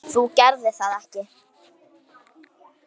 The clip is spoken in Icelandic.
Þú gerðir það ekki?